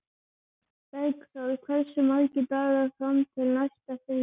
Bergþór, hversu margir dagar fram að næsta fríi?